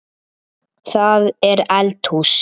Það er eldhús.